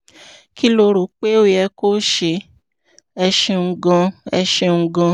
kí lo rò pé ó yẹ kó o ṣe? ẹ ṣeun gan-an ẹ ṣeun gan-an